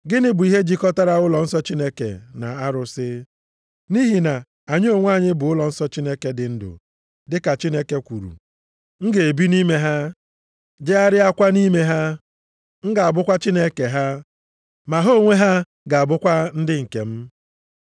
Gịnị bụ ihe jikọtara ụlọnsọ Chineke na arụsị? Nʼihi na anyị onwe anyị bụ ụlọnsọ Chineke dị ndụ. Dịka Chineke kwuru, “M ga-ebi nʼime ha. Jegharịakwa nʼime ha. M ga-abụkwa Chineke ha, ma ha onwe ha ga-abụkwa ndị nke m.” + 6:16 \+xt Lev 26:12; Jer 32:38; Izk 37:27\+xt*